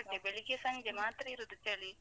ಬೆಳಿಗ್ಗೆ ಸಂಜೆ ಮಾತ್ರ ಇರುದು ಚಳಿ.